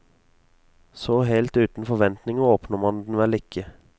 Så helt uten forventninger åpner man den vel ikke.